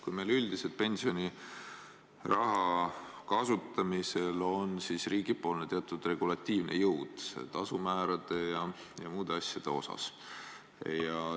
Üldiselt on pensioniraha kasutamisel riigil teatud regulatiivne jõud tasumäärade ja muude asjade osas.